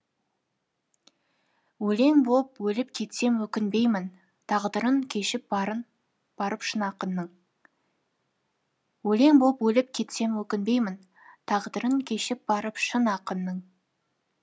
өлең боп өліп кетсем өкінбеймін тағдырын кешіп барып шын ақынның өлең боп өліп кетсем өкінбеймін тағдырын кешіп барып шын ақынның